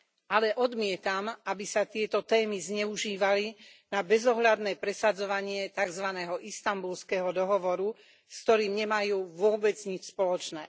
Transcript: Ale odmietam, aby sa tieto témy zneužívali na bezohľadné presadzovanie takzvaného Istanbulského dohovoru, s ktorým nemajú vôbec nič spoločné.